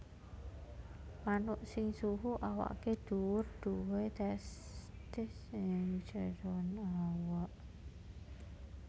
Manuk sing suhu awaké dhuwur duwé testis ing njeron awak